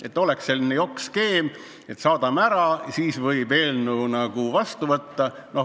Et oleks selline jokk-skeem, et saadame ära, siis võib eelnõu vastu võtta.